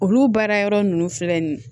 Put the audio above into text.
Olu baara yɔrɔ ninnu filɛ nin ye